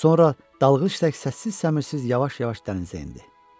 Sonra dalğıc tək səssiz-səmirsiz yavaş-yavaş dənizə endi.